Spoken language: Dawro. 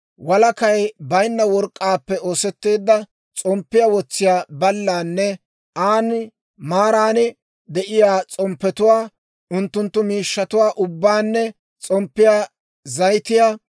walakay baynna work'k'aappe oosetteedda s'omppiyaa wotsiyaa ballaanne an maaran de'iyaa s'omppetuwaa, unttunttu miishshatuwaa ubbaanne s'omppiyaa zayitiyaa,